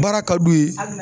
Baara ka d'u ye